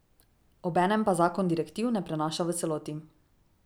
Obenem pa zakon direktiv ne prenaša v celoti.